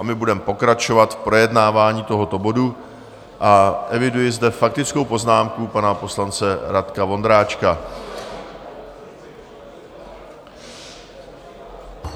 A my budeme pokračovat v projednávání tohoto bodu a eviduji zde faktickou poznámku pana poslance Radka Vondráčka.